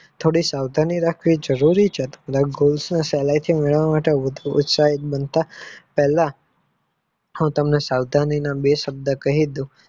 થોડીક સાવધાની રાખવી જરૂરી છે થોડાક goal ને સહેલાઇ થી મેળવવા માટે ઉત્સાહી બનવા પહેલા સાવધાનીના બે શબ્દો કાહીજ દઉ